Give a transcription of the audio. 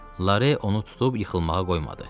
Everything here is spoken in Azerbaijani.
Loran onu tutub yıxılmağa qoymadı.